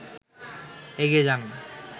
এগিয়ে যান